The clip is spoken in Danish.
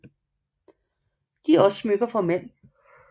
De er også smykker for mænd